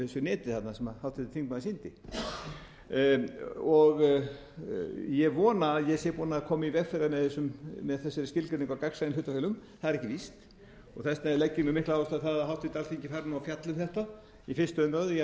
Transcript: neti þarna sem háttvirtur þingmaður sýndi ég vona að ég sé búinn að koma í veg fyrir það með þessari skilgreiningu á gagnsæjum hlutafélögum það er ekki víst og þess vegna legg ég mjög mikla áherslu á það að háttvirt alþingi fari nú að fjalla um þetta í fyrstu umræðu